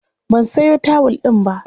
Ban sayo tawul ɗin ba.